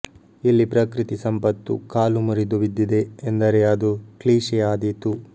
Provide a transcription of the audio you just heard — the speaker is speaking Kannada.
ಇಲ್ಲಿ ಪ್ರಕೃತಿ ಸಂಪತ್ತು ಕಾಲು ಮುರಿದು ಬಿದ್ದಿದೆ ಎಂದರೆ ಅದು ಕ್ಲೀಶೆ ಆದೀತು